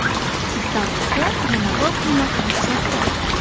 Iftorlikka yana bir quymoq retsepti.